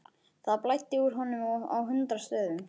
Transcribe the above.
Það blæddi úr honum á hundrað stöðum.